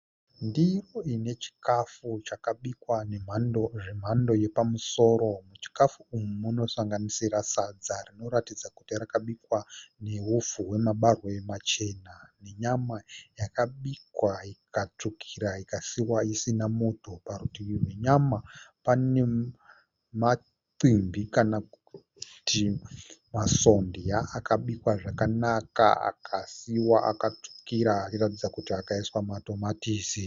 Ndiro ine chikafu chakabikwa zvemhando yepamusoro. Muchikafu umu munosanganisira sadza rinoratidza kuti rakabikwa nehupfu hwemabagwe machena nenyama yakabikwa ikatsvukira ikasiiwa isina muto. Parutivi penyama pane maximbi kana kuti masondya akabikwa zvakanaka akasiiwa akatsvukira achiratidza kuti akaiswa matomatisi.